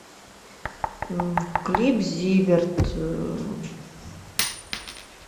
клип зиверт